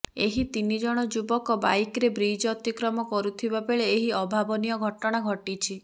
ଏହି ତିନିଜଣ ଯୁବକ ବାଇକରେ ବ୍ରିଜ ଅତିକ୍ରମ କରୁଥିବା ବେଳେ ଏହି ଅଭାବନୀୟ ଘଟଣା ଘଟିଛି